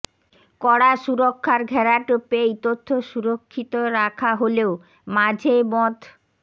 কড়া সুরক্ষার ঘেরাটোপে এই তথ্য সুরক্ষিত রাখা হলেও মাঝে মধ্